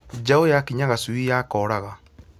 Njaũ yakinya gacui yakoraga